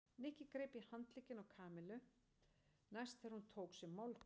Nikki greip í handlegginn í Kamillu næst þegar hún tók sér málhvíld.